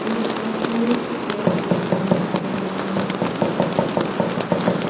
ఈ ఒక tourist place అని అనుకుంటున్నాను.